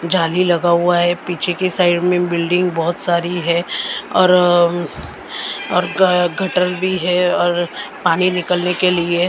जाली लगा हुआ है पीछे की साइड में बिल्डिंग बहुत सारी है और और घ घटर भी है और पानी निकलने के लिए।